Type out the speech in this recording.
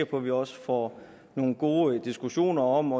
på vi også får nogle gode diskussioner om